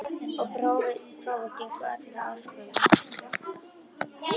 Og prófin gengu öll að óskum.